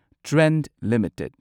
Trent limited